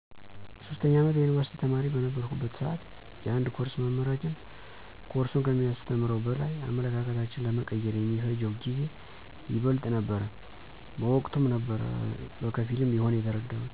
የ3ኛ አመት የዩኒቭርሲቲ ተማሪ በነበረሁበት ስዓት የአንድ ኮርስ መምህራችን ኮርሱን ከሚያስተምረው በላይ አመለካከታችን ለመቀየር የሚፈጀው ጊዜ ይበልጥ ነበረ። በወቅቱም ነበር በከፊልም ቢሆን የተረደሁት።